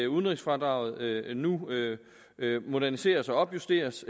udenrigsfradraget nu moderniseres og justeres